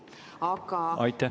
Aitäh!